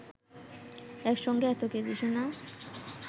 একসঙ্গে এত কেজি সোনা